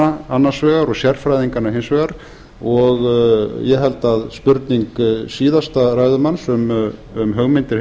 heimilislækninganna annars vegar og sérfræðinganna hins vegar og ég held að spurning síðasta ræðumanns um hugmyndir